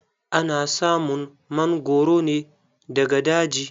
Ana samun mangoro ne daga daji.